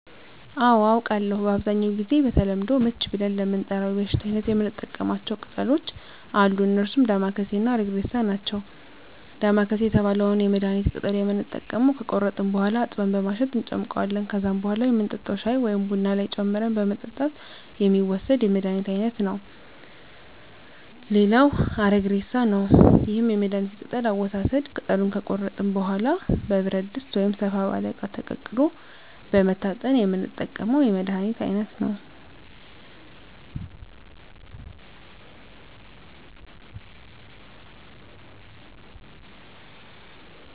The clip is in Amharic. አዎ አውቃለሁ በአብዛኛው ጊዜ በተለምዶ ምች ብለን ለምንጠራው የበሽታ አይነት የምንጠቀማቸው ቅጠሎች አሉ እነርሱም ዳማከሴ እና አረግሬሳ ናቸው ዳማከሴ የተባለውን የመድሀኒት ቅጠል የምንጠቀመው ከቆረጥን በኋላ አጥበን በማሸት እንጨምቀዋለን ከዛም በኋላ የምንጠጣው ሻይ ወይም ቡና ላይ ጨምረን በመጠጣት የሚወሰድ የመድሀኒት አይነት ነው ሌላው አረግሬሳ ነው ይህም የመድሀኒት ቅጠል አወሳሰድ ቅጠሉን ከቆረጥን በኋላ በብረት ድስት ወይም ሰፋ ባለ እቃ ተቀቅሎ በመታጠን የምንጠቀመው የመድሀኒት አይነት ነው